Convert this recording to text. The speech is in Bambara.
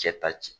Cɛ ta cɛ